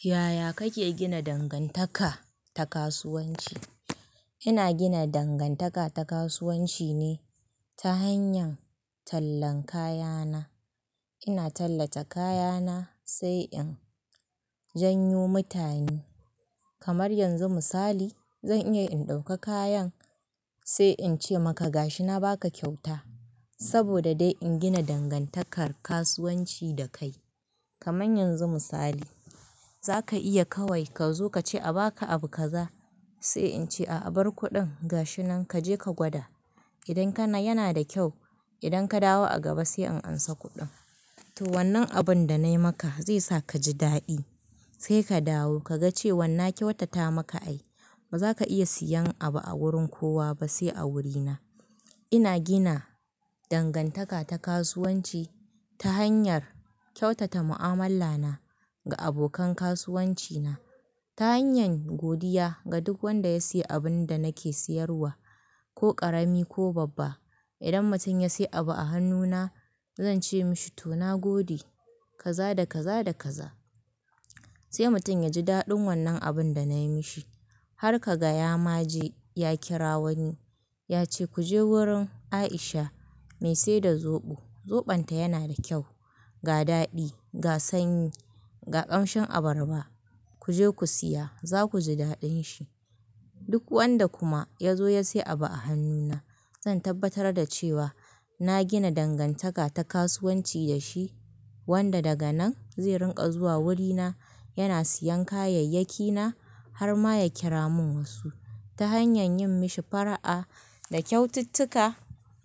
Yaya kake gina dangantaka ta kasuwanci? Ina gina dangantaka ta kasuwanci ne ta hanyar tallan kayana. Ina tallata kayana sai in janyo mutane. Kamar yanzu misali zan iya in ɗauka kayan sai in ce maka gashi na baka kyauta. Saboda dai in gina dangantakar kasuwanci dakai. Kamar yanzu misali zaka iya kawai ka zo ka ce a baka abu kaza sai in ce a abar kuɗin gashinan kaje ka gwada. Idan kana yana da kyau idan ka dawo a gaba sai in ansa kuɗin. To wannan abun da nayi maka zai sa kaji daɗi sai ka dawo kaga cewan na kyauta ta maka ai bazaka iya siyan abu a wurin kowa ba sai a wurina. Ina gina dangantaka ta kasuwanci ta hanyar kyautata mu'ammala na ga abokan kasuwanci na ta hanyar godiya ga duk wanda ya siya abun da nake siyarwa ko ƙarami ko babba. Idan mutum ya siya abu a hannuna zan ce mishi to na gode kaza da kaza da kaza sai mutum yaji daɗin wannan abun da nayi mishi har ka gaya ma ji ya kira wani. Yace kuje wurin Aisha me seda zoɓo, zoɓonta yana da kyau, ga daɗi, ga sanyi, ga ƙamshin abarba kuje ku siya zakuji daɗin shi. Duk wanda kuma ya zo ya siya abu a hannuna zan tabbatar da cewa na gina dangantaka ta kasuwanci dashi wanda daga nan zai rinƙa zuwa wurina yana siyan kayayyakina har ma ya kira mun wasu ta hanyar yin mishi fara'a da kyaututtuka